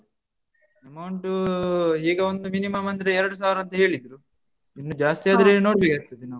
Amount ಈಗ ಒಂದು minimum ಅಂದ್ರೆ ಎರಡು ಸಾವಿರ ಅಂತ ಹೇಳಿದ್ರು. ಇನ್ನು ಜಾಸ್ತಿ ಆದ್ರೆ.